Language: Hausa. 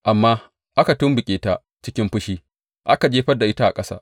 Amma aka tumɓuke ta cikin fushi aka jefar da ita a ƙasa.